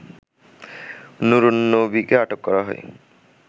নুরুন্নবীকে আটক করা হয়